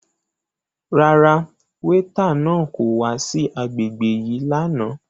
Rárá, weeta náà ko wa si agbegbe yii làná